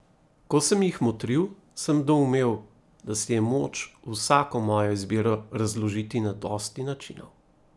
Ko sem jih motril, sem doumel, da si je moč vsako mojo izbiro razložiti na dosti načinov.